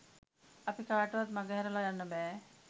අපි කාටවත් මඟහැරලා යන්න බෑ.